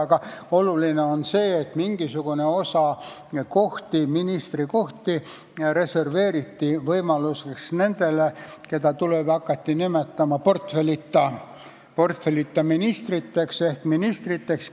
Aga oluline on see, et mingisugune osa ministrikohti reserveeriti nendele, kes tulevikus võiks hakata portfellita ministriks või ministriteks – niimoodi neid nimetama hakati.